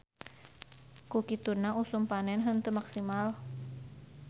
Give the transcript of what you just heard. Ku kituna usum panen henteu maksimal.